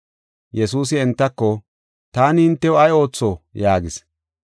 Yesuusi entako, “Taani hintew ay ootho?” yaagis.